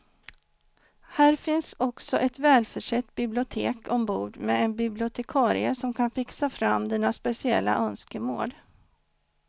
Här finns också ett välförsett bibliotek ombord med en bibliotekarie som kan fixa fram dina speciella önskemål.